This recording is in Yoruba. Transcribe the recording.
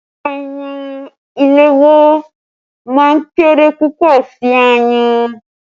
Ayùn ìléwọ́ máa ń kéré púpọ̀ sí ayùn.